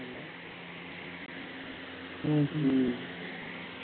ஹம்